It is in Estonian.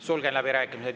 Sulgen läbirääkimised.